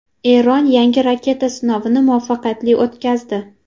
Eron yangi raketa sinovini muvaffaqiyatli o‘tkazdi.